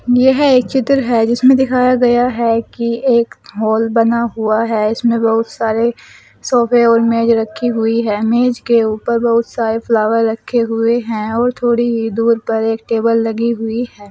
यह एक चित्र है जिसमें दिखाया गया है कि एक हाल बना हुआ है इसमें बहुत सारे सोफे और मेज रखी हुई है मेज के ऊपर बहुत सारे फ्लावर रखे हुए हैं और थोड़ी ही दूर पर एक टेबल लगी हुई है।